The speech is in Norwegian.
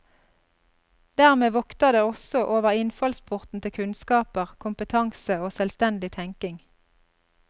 Dermed vokter det også over innfallsporten til kunnskaper, kompetanse og selvstendig tenking.